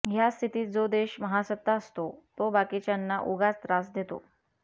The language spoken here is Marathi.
ह्या स्थितीत जो देश महासत्ता असतो तो बाकीच्यांना उगाच त्रास देतो